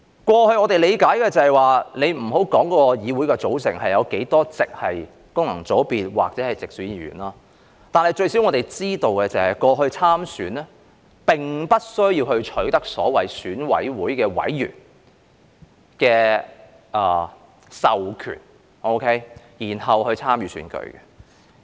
過去，我們理解的是，且不要說議會的組成有多少席是經功能界別或直選產生，最少我們知道，過去參選並不需要取得所謂選委會委員的授權，然後才可參與選舉。